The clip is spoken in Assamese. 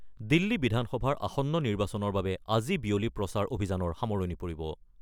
দিল্লী বিধানসভাৰ আসন্ন নিৰ্বাচনৰ বাবে আজি বিয়লি প্ৰচাৰ অভিযানৰ সামৰণি পৰিব।